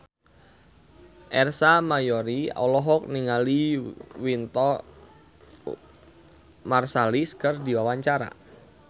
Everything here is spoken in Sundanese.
Ersa Mayori olohok ningali Wynton Marsalis keur diwawancara